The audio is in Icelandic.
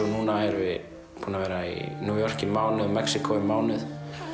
núna erum við búin að vera í New York í mánuð og Mexíkó í mánuð